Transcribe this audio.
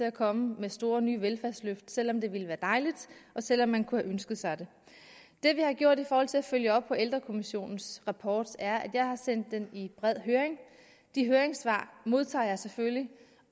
at komme med store nye velfærdsløft selv om det ville være dejligt og selv om man kunne have ønsket sig det det vi har gjort i forhold til at følge op på ældrekommissionens rapport er at jeg har sendt den i bred høring de høringssvar modtager jeg selvfølgelig